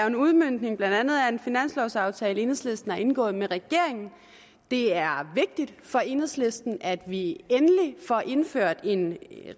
en udmøntning blandt andet af en finanslovsaftale enhedslisten har indgået med regeringen det er vigtigt for enhedslisten at vi endelig får indført en